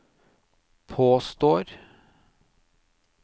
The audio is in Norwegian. påstår